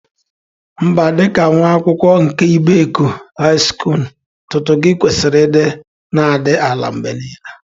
Mba, dị ka nwa akwụkwọ nke Ibeku High Skulu, ntutu gi kwesịrị ịdị na-adị ala mgbe niile